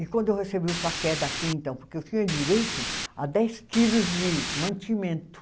E quando eu recebi o café daqui, então, porque eu tinha direito a dez quilos de mantimento.